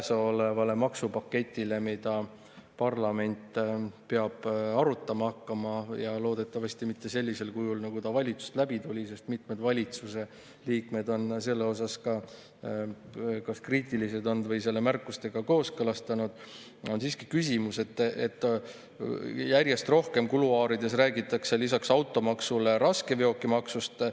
Lisaks käesolevale maksupaketile, mida parlament peab arutama hakkama – ja loodetavasti mitte sellisel kujul, nagu ta valitsusest läbi tuli, sest mitmed valitsuse liikmed on selle osas kas kriitilised olnud või selle märkustega kooskõlastanud –, on mul siiski küsimus selle kohta, et järjest rohkem kuluaarides räägitakse lisaks automaksule raskeveokimaksust.